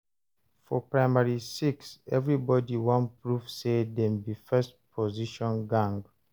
For primary six, everybody wan prove say dem be first position gang.